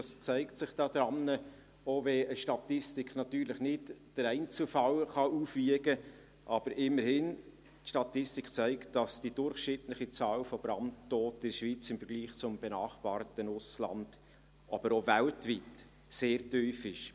Dies zeigt sich daran – auch wenn eine Statistik den Einzelfall nicht aufwiegen kann – dass die durchschnittliche Anzahl Brandtoter in der Schweiz im Vergleich zum benachbarten Ausland, aber auch im weltweiten Vergleich, sehr tief ist.